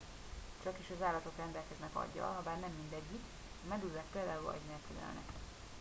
csakis az állatok rendelkeznek aggyal habár nem mindegyik; a medúzák például agy nélkül élnek